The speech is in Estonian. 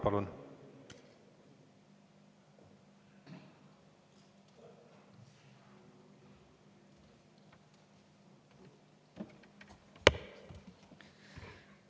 Palun!